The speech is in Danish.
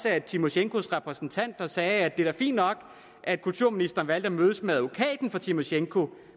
at tymosjenkos repræsentant sagde at det da er fint nok at kulturministeren har valgt at mødes med advokaten for tymosjenko